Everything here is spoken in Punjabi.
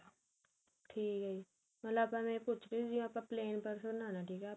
ਠੀਕ ਏ ਮਤਲਬ ਆਪਾਂ ਨੇ ਕੁੱਝ ਵੀ ਆਪਾਂ ਨੇ plane purse ਬਨਾਣਾ ਠੀਕ ਏ